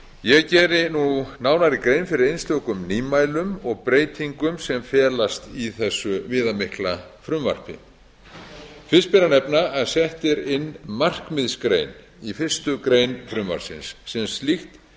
ég geri nú nánari grein fyrir einstökum nýmælum og breytingum sem felast í þessu viðamikla frumvarpi fyrst ber að nefna að sett er inn markmiðsgrein í fyrstu grein frumvarpsins en slíkt